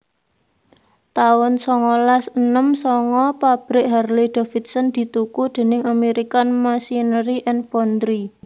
taun songolas enem sanga Pabrik Harley Davidson dituku déning American Machinery and Foundry